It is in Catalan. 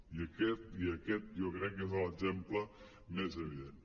i aquest jo crec que és l’exemple més evident